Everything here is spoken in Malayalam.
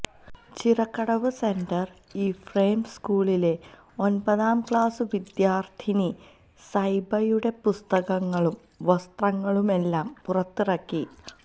ചിറക്കടവ് സെന്റ് ഇഫ്രേംസ് സ്കൂളിലെ ഒൻപതാം ക്ലാസ് വിദ്യാർത്ഥിനി സൈബയുടെ പുസ്തകങ്ങളും വസ്ത്രങ്ങളുമെല്ലാം പുറത്തിറക്കി